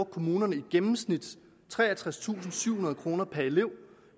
kommunerne i gennemsnit treogtredstusinde og syvhundrede kroner per elev